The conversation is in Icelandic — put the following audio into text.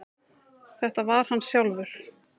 Þetta var hann sjálfur.